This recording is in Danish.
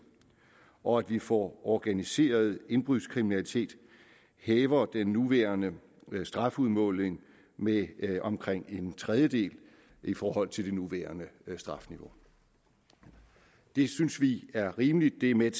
og at vi for organiseret indbrudskriminalitet hæver den nuværende strafudmåling med omkring en tredjedel i forhold til det nuværende strafniveau det synes vi er rimeligt det er med